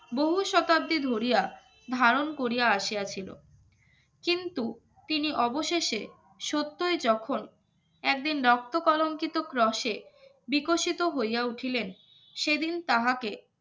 বহু শতাব্দী ধরিয়া ধারণ করিয়া আসিয়াছিল কিন্তু তিনি অবশেষে সত্যই যখন একদিন রক্ত কলঙ্কিত ক্রসে বিকশিত হইয়া উঠিলেন সেদিন তাহাকে